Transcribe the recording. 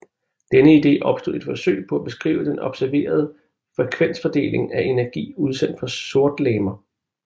Denne ide opstod i et forsøg på at beskrive den observerede frekvensfordeling af energi udsendt fra sortlegemer